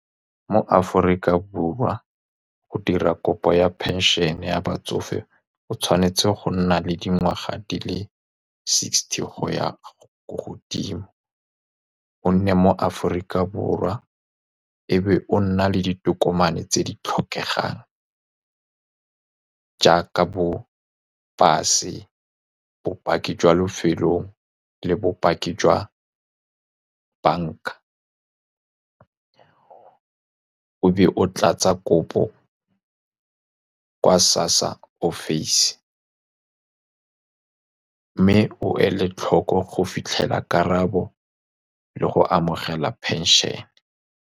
Mo Aforika Borwa, go dira kopo ya phenšene ya batsofe o tshwanetse go nna le dingwaga di le sixty go ya ko godimo. O nne mo Aforika Borwa, e be o nna le ditokomane tse di tlhokegang jaaka bo-pase, bopaki jwa lefelong le bopaki jwa banka. O be o tlatsa kopo ko SASSA office, mme o ele tlhoko go fitlhelela karabo le go amogela phenšene.